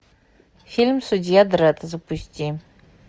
фильм судья дредд запусти